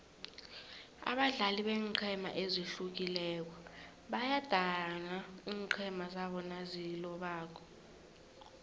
abadlali beenqhema ezihlukileko bayadana iinqhema zabo nazilobako